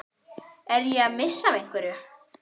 Er ég að missa af einhverju?